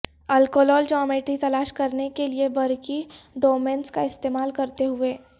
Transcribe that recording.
الکولول geometry تلاش کرنے کے لئے برقی ڈومینز کا استعمال کرتے ہوئے